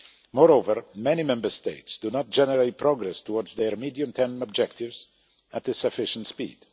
Moreover, many Member States do not generate progress towards their medium term objectives at a sufficient speed.